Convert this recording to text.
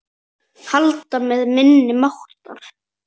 Halda með minni máttar.